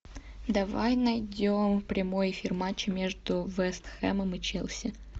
давай найдем прямой эфир матча между вест хэмом и челси